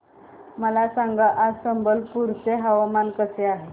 मला सांगा आज संबलपुर चे हवामान कसे आहे